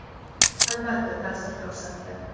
Albatta, ta’sir ko‘rsatdi.